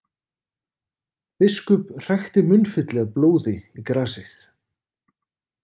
Biskup hrækti munnfylli af blóði í grasið.